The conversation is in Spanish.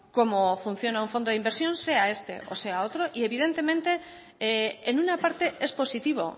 como funciona un fondo de inversión sea este o sea otro y evidentemente en una parte es positivo